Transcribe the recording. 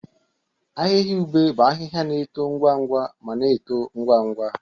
Ahịhịa ube bụ ahịhịa na-eto ngwa ngwa ma na-eto ngwa ngwa.